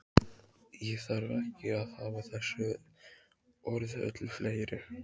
Ég þarf ekki að hafa þessi orð öllu fleiri.